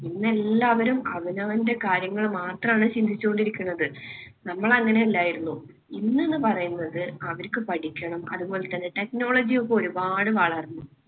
ഇന്ന് എല്ലാവരും അവനവന്‍റെ കാര്യങ്ങൾ മാത്രമാണ് ചിന്തിച്ചു കൊണ്ടിരിക്കുന്നത്. നമ്മൾ അങ്ങനെ അല്ലായിരുന്നു. ഇന്ന് എന്ന് പറയുന്നത് അവർക്ക് പഠിക്കണം. അതുപോലെതന്നെ technology ഒക്കെ ഒരുപാട് വളർന്നു.